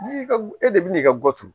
N'i ka e de bɛ n'i ka goro